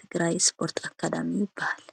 ትግራይ ስፖርት ኣካዳሚ ይብሃል::